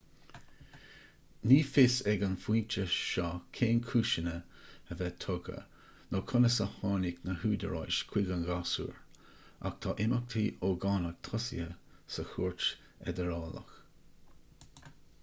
ní fios ag an phointe seo cén cúiseanna a bheith tugtha nó conas a tháinig na húdaráis chuig an ghasúr ach tá imeachtaí ógánach tosaithe sa chúirt fheidearálach